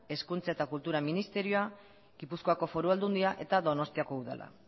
hezkuntza eta kultura ministerioa gipuzkoako foru aldundia eta donostiako udala